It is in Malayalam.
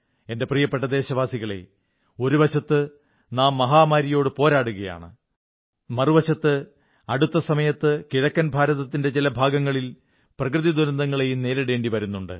എന്റെ പ്രിയപ്പെട്ട ദേശവാസികളേ ഒരു വശത്ത് നാം ഒരു മഹാമാരിയോടു പോരാടുകയാണ് മറുവശത്ത് അടുത്ത സമയത്ത് കിഴക്കൻ ഭാരതത്തിന്റെ ചില ഭാഗങ്ങളിൽ പ്രകൃതിദുരന്തങ്ങളേയും നേരിടേണ്ടി വരുന്നുണ്ട്